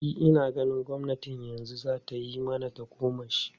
E, ina ganin gwamnatin yanzu za ta yi mana tagomashi.